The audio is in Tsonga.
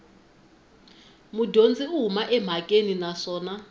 mudyondzi u huma emhakeni naswona